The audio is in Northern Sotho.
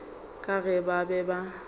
ka ge ba be ba